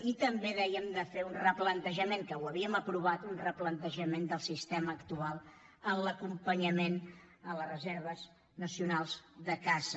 i també dèiem de fer un replantejament que ho havíem aprovat del sistema actual en l’acompanyament a les reserves nacionals de caça